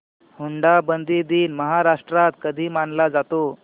हुंडाबंदी दिन महाराष्ट्रात कधी मानला जातो